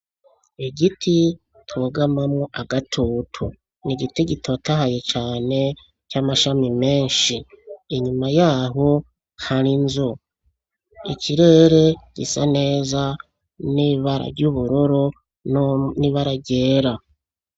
Igiti bugamamwo agatutu n'igiti gitotahaye cane c'amashami meshi inyuma yaho hari inzu ikirere gisa neza n'ibara ry'ubururu n'ibara ryera.